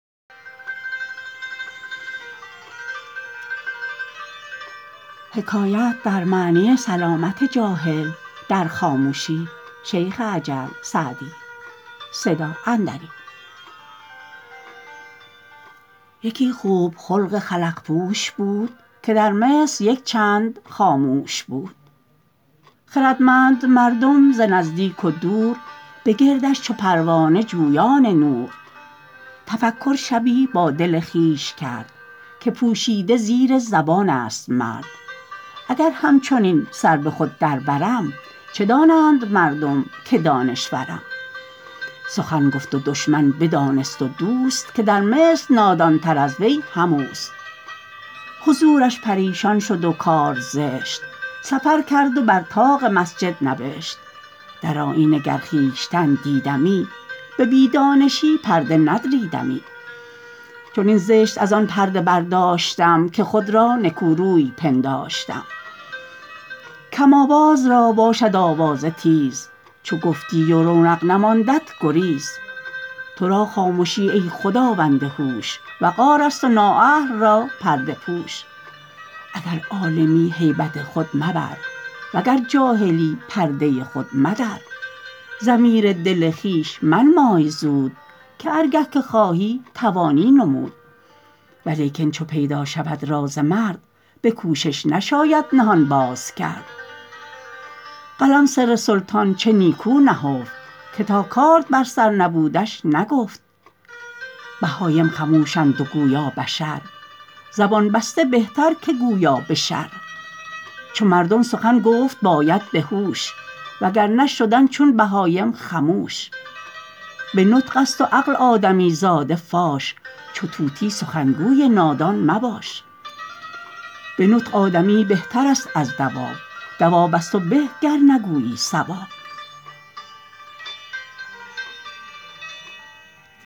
یکی خوب خلق خلق پوش بود که در مصر یک چند خاموش بود خردمند مردم ز نزدیک و دور به گردش چو پروانه جویان نور تفکر شبی با دل خویش کرد که پوشیده زیر زبان است مرد اگر همچنین سر به خود در برم چه دانند مردم که دانشورم سخن گفت و دشمن بدانست و دوست که در مصر نادان تر از وی هم اوست حضورش پریشان شد و کار زشت سفر کرد و بر طاق مسجد نبشت در آیینه گر خویشتن دیدمی به بی دانشی پرده ندریدمی چنین زشت از آن پرده برداشتم که خود را نکو روی پنداشتم کم آواز را باشد آوازه تیز چو گفتی و رونق نماندت گریز تو را خامشی ای خداوند هوش وقار است و نا اهل را پرده پوش اگر عالمی هیبت خود مبر وگر جاهلی پرده خود مدر ضمیر دل خویش منمای زود که هر گه که خواهی توانی نمود ولیکن چو پیدا شود راز مرد به کوشش نشاید نهان باز کرد قلم سر سلطان چه نیکو نهفت که تا کارد بر سر نبودش نگفت بهایم خموشند و گویا بشر زبان بسته بهتر که گویا به شر چو مردم سخن گفت باید به هوش و گر نه شدن چون بهایم خموش به نطق است و عقل آدمی زاده فاش چو طوطی سخنگوی نادان مباش به نطق آدمی بهتر است از دواب دواب از تو به گر نگویی صواب